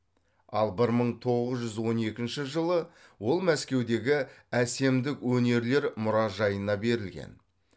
ал бір мың тоғыз жүз он екінші жылы ол мәскеудегі әсемдік өнерлер мұражайына берілген